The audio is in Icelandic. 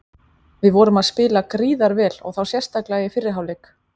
Við vorum að spila gríðar vel og þá sérstaklega í fyrri hálfleik.